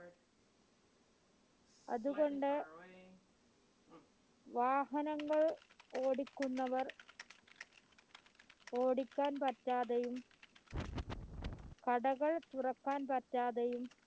അതുകൊണ്ട് വാഹനങ്ങൾ ഓടികുന്നവർ ഓടിക്കാൻ പറ്റാതെയും കടകൾ തുറക്കാൻ പറ്റാതെയും